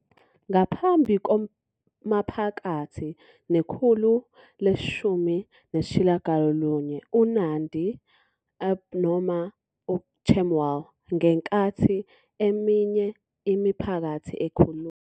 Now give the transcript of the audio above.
Ngaphambi komaphakathi nekhulu le-19, uNandi, ip. noma uChemwal, pl. ngenkathi eminye imiphakathi ekhuluma.